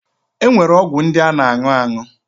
E nwere ọgwụ ndị a na aṅụ aṅụ.